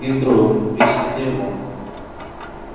и вдруг резкий перелом